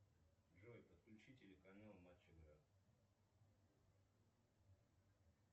джой подключи телеканал матч игра